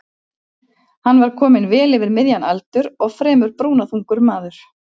Hann var kominn vel yfir miðjan aldur og fremur brúnaþungur maður.